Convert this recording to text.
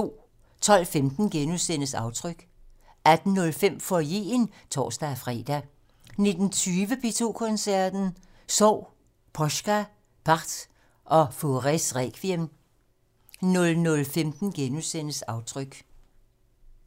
12:15: Aftryk * 18:05: Foyeren (tor-fre) 19:20: P2 Koncerten - Sorg: Poska, Part og Faures requiem 00:15: Aftryk *